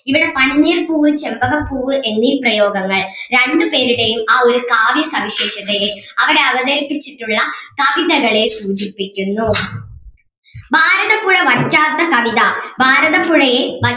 ഇവിടെ പനിനീർപ്പൂവ് ചെമ്പകപ്പൂവ് എന്നീ പ്രയോഗങ്ങൾ രണ്ടു പേരുടെയും ആ ഒരു കാവ്യസവിശേഷതയെ അവര് അവതരിപ്പിച്ചിട്ടുള്ള കവിതകളെ സൂചിപ്പിക്കുന്നു ഭാരതപ്പുഴ വറ്റാത്ത കവിത ഭാരതപ്പുഴയെ